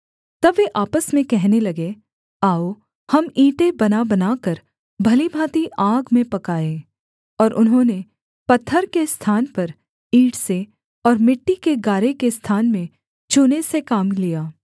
तब वे आपस में कहने लगे आओ हम ईंटें बनाबनाकर भली भाँति आग में पकाएँ और उन्होंने पत्थर के स्थान पर ईंट से और मिट्टी के गारे के स्थान में चूने से काम लिया